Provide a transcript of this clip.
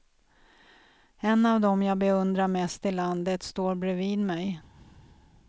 En av dem jag beundrar mest i landet står bredvid mig.